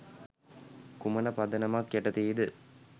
කුමන පදනමක් යටතේද?